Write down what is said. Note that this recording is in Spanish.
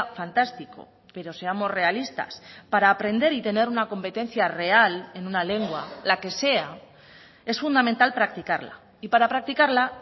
fantástico pero seamos realistas para aprender y tener una competencia real en una lengua la que sea es fundamental practicarla y para practicarla